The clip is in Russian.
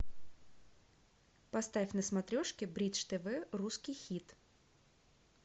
поставь на смотрешке бридж тв русский хит